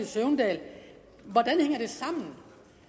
søvndal hvordan hænger det sammen